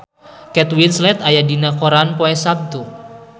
Kate Winslet aya dina koran poe Saptu